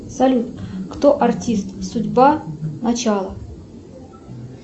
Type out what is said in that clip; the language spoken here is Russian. салют кто артист судьба начало